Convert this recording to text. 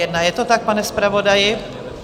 Je to tak, pane zpravodaji?